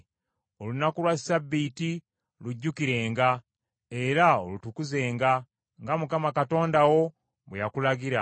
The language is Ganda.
Olunaku lwa Ssabbiiti lujjukirenga era olutukuzenga, nga Mukama Katonda wo bwe yakulagira.